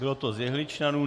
Bylo to z jehličnanů.